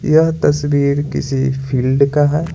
यह तस्वीर किसी फील्ड का है।